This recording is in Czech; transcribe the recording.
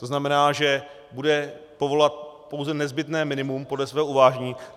To znamená, že bude povolovat pouze nezbytné minimum podle svého uvážení.